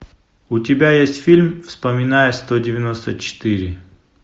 у тебя есть фильм вспоминая сто девяносто четыре